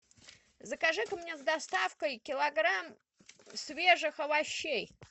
закажи ка мне с доставкой килограмм свежих овощей